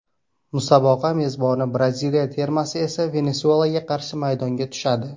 Musobaqa mezboni Braziliya termasi esa Venesuelaga qarshi maydonga tushadi.